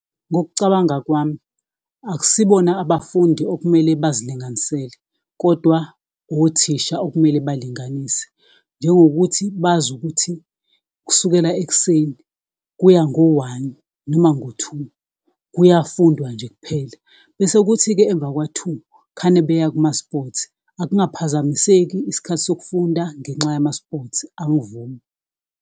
Ngokucabanga kwami, akusibona abafundi okumele bazilinganisele, kodwa othisha okumele balinganise, njengokuthi bazi ukuthi kusukela ekuseni kuya ngo one noma ngo two, kuyafundwa nje kuphela, bese kuthi-ke emvakwa two khane beya kuma-sports. Akungaphazamiseki isikhathi sokufunda ngenxa yama-sports, angivumi.